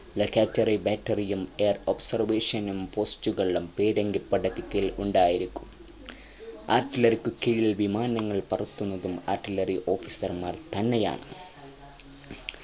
locketing battery യും air observation നും post കളും പീരങ്കിപ്പടക്കു കീഴിൽ ഉണ്ടായിരിക്കും artillery കീഴിൽ വിമാനങ്ങൾ പരത്തുന്നതും artillery officer മാർ തന്നെയാണ്